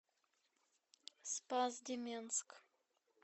спас деменск